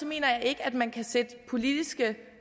mener jeg ikke at man kan sætte politiske